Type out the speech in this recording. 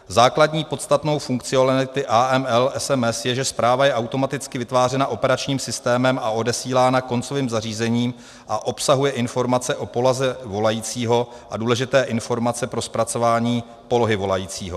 Základní podstatnou funkcionality AML SMS je, že zpráva je automaticky vytvářena operačním systémem a odesílána koncovým zařízením a obsahuje informace o poloze volajícího a důležité informace pro zpracování polohy volajícího.